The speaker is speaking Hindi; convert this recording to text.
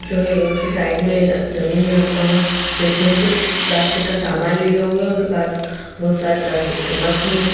जो है रोड के साइड में जमीन में अम्मा बैठी हैं कुछ प्लास्टिक का सामान लिए हुए उनके पास बहुत सारे प्लास्टिक के मग हैं।